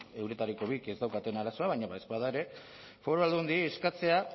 euretariko bik ez daukaten arazoa baina badaezpada ere foru aldundiei eskatzea